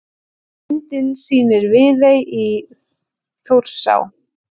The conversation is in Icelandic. Myndin sýnir Viðey í Þjórsá.